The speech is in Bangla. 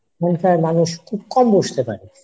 মানুষ খুব কম বসতে পারে